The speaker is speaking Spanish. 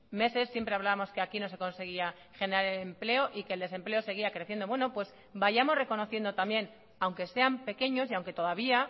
meses siempre hablábamos que aquí no se conseguía generar empleo y que el desempleo seguía creciendo bueno pues vayamos reconociendo también aunque sean pequeños y aunque todavía